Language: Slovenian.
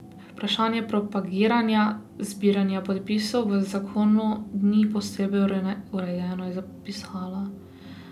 Vprašanje propagiranja zbiranja podpisov v zakonu ni posebej urejeno, je zapisala.